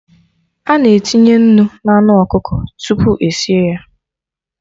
Ana etinye nnu na anụ ọkụkọ tupu esie ya